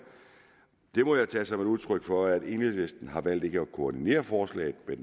må jeg tage som et udtryk for at enhedslisten har valgt ikke at koordinere forslaget med